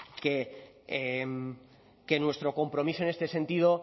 que nuestro compromiso en este sentido